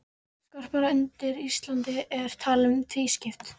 Jarðskorpan undir Íslandi er talin vera tvískipt.